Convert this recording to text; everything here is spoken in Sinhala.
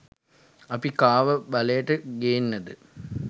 අපි කාව බලයට ගේන්නද